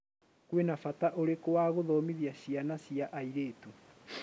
kwĩna bata urikũ wa guthomĩthia ciana cia airitũ?